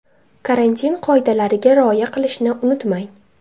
Karantin qoidalariga rioya qilishni unutmang.